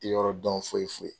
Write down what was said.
N ti yɔrɔ dɔn foyi foyi.